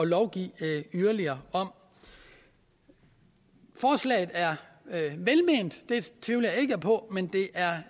lovgive yderligere om forslaget er velment det tvivler jeg ikke på men det